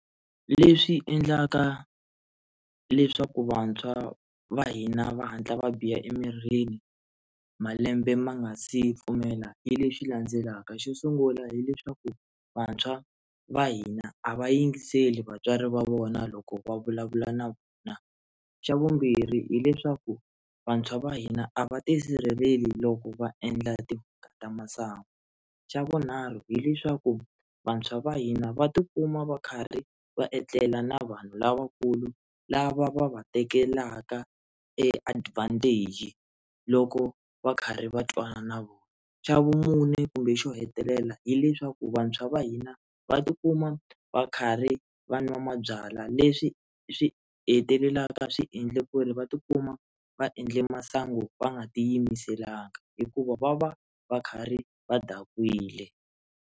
Leswi endlaka leswaku vantshwa va hina va hatla va biha emirini malembe ma nga si pfumela hi leswi landzelaka, xo sungula hileswaku vantshwa va hina a va yingiseli vatswari va vona loko va vulavula na vona, xa vumbirhi hileswaku vantshwa va hina a va tisirheleli loko va endla timhaka ta masangu, xa vunharhu hileswaku vantshwa va hina va tikuma va karhi va etlela na vanhu lavakulu lava va va tekelaka e advantage loko va karhi va twana na vona, xa vumune kumbe xo hetelela hileswaku vantshwa va hina va tikuma va karhi vanwa mabyalwa leswi swi hetelelaka swiendle ku ri va tikuma va endle masangu va nga ti yimiselanga hikuva va va va karhi va dakwile.